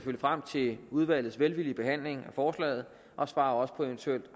frem til udvalgets velvillige behandling af forslaget og svarer også på eventuelle